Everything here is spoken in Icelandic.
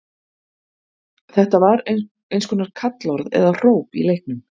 Þetta var eins konar kallorð eða hróp í leiknum.